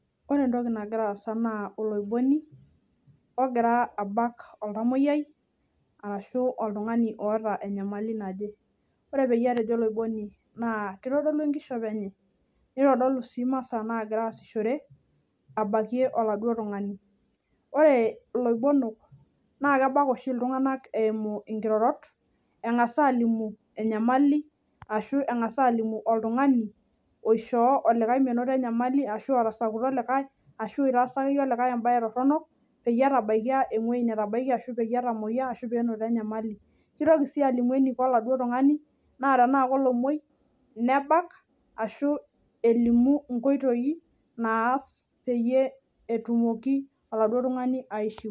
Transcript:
Ore entoki nagira aasa naa oloiboni ogira abak oltamoyiai arashu oltungani oota enyamali naje . Ore peyie atejo oloiboni naa kitodolu enkishopo enye , nitodolu sii imasaa nagira aasishore abakie oladuo tungani . Ore iloibonok naa kebak oshi iltunganak eimu nkirorot , engas alimu enyamali ,ashu engas alimu oltungani, osihoo olikae menoto enyamali ashua olotasakuto olikae ashu oitaasa olikae entorono peyie etabaikia ewuei netabaikia ashu penoto enyamali . Kitoki sii alimu eniko oladuo tungani naa tenaa kolomwoi , nebak ashu elimu nkoitoi naas peyie etumoki oladuo tungani aishiu.